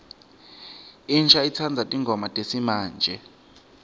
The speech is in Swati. insha itsandza tingoma tesimamje